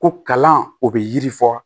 Ko kalan o bɛ yiri fɔ